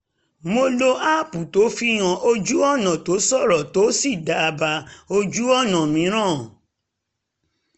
mo lo aápù tó fihan ojú-ọ̀nà tó ṣòro tó sì dábàá ojú-ọ̀nà mìíràn